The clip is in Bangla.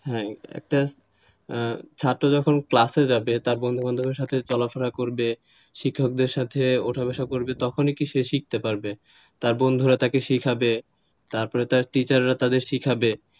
হ্যাঁ একটা ছাত্র যখন ক্লাসে যাবে তার বন্ধুবান্ধবের সাথে চলাফেরা করবে, শিক্ষকদের সাথে ওঠাবসা করবে তখনই কে সে শিখতে পারবে তার বন্ধুরা তাদের শেখাবে, তারপরে তার teacher রা তাদের শেখাবে,